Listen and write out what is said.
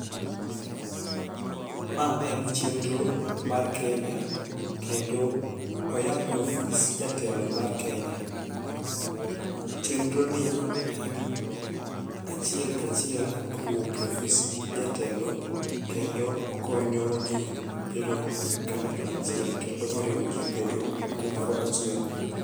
Ma en chenro mar kenya kendo oya e ofis jatelo mar kenya. Chenro ni en achiel kachiel kowuok e ofis jatelo kendo okonyo jii bedo kanyakla achiel kendo oriwo jii bedo kumoro achiel.